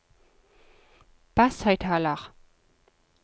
basshøyttaler